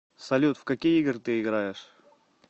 салют в какие игры ты играешь